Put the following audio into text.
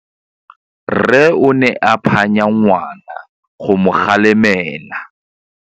Rre o ne a phanya ngwana go mo galemela.